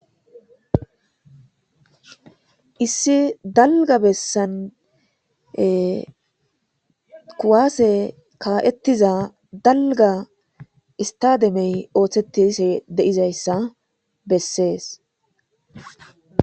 issi dalga bessan kuwaase kaa'ettiza dalga istademey ooththetishe de'izayssa bessees